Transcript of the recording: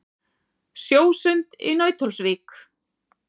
Sjósund í Nauthólsvík.